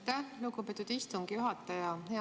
Aitäh, lugupeetud istungi juhataja!